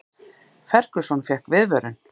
Ferguson fékk viðvörun